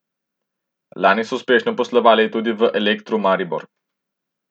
Lani so uspešno poslovali tudi v Elektru Maribor.